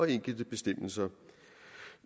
enkelte bestemmelser